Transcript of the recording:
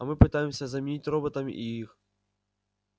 а мы пытаемся заменить роботами и их